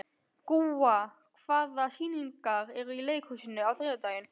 Gúa, hvaða sýningar eru í leikhúsinu á þriðjudaginn?